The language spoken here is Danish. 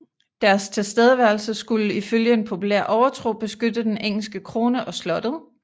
Deres tilstedeværelse skulle ifølge en populær overtro beskytte den engelske krone og slottet